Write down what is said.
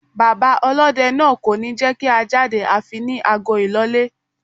Bàbá ọlọ́dẹ náà kò ní jẹ́kí a jáde àfi ní ago ìlọlé.